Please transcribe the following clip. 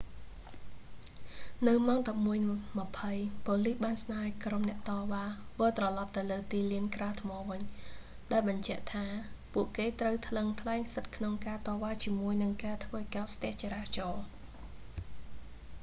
នៅម៉ោង 11:20 ប៉ូលីសបានស្នើឲ្យក្រុមអ្នកតវ៉ា វិលត្រឡប់ទៅលើទីលានក្រាលថ្មវិញ ដោយបញ្ជាក់ថា ពួកគេត្រូវថ្លឹងថ្លែងសិទ្ធិក្នុងការតវ៉ាជាមួយនឹងការធ្វើឲ្យកកស្ទះចរាចរណ៍